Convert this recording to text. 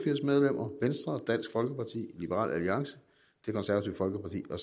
medlemmer venstre dansk folkeparti liberal alliance det konservative folkeparti og